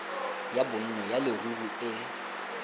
ya bonno ya leruri e